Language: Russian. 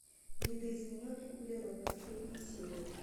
видоизмененный углерод последняя серия